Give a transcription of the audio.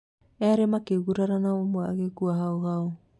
Erĩ makĩgurara na ũmwe agekua hau hau